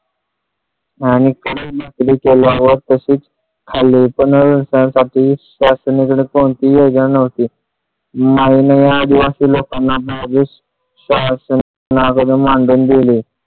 पाहून ती या जाणवते मैने किया असं लोकांना मानधन दिले.